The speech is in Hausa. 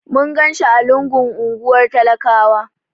Mun ganshi a lungun unguwar talakawa.